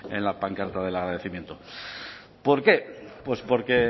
en la pancarta del agradecimiento por qué porque